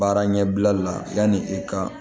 Baara ɲɛbila la yanni i ka